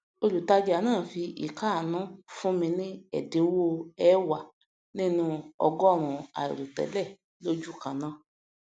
olùtajà náà fi ikáànú fún mi ní ẹdíwọ ẹẹwàá nínú ọgọọrún àìròtẹlẹ lójúkanáà